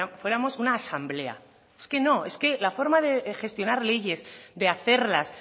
fuéramos una asamblea es que no es que la forma de gestionar leyes de hacerlas